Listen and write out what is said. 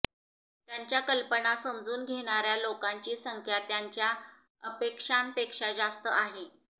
त्याच्या कल्पना समजून घेणाऱ्या लोकांची संख्या त्यांच्या अपेक्षांपेक्षा जास्त आहे